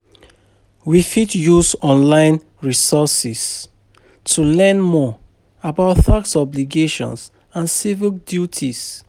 We fit use online resources to learn more about tax obligations and civic duties.